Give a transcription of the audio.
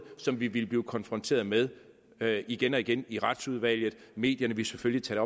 som vi ville blive konfronteret med med igen og igen i retsudvalget medierne vil selvfølgelig tage